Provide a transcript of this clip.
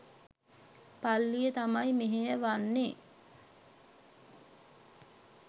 පල්ලිය තමයි මෙහෙයවන්නේ..